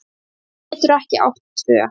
Maður getur ekki átt tvö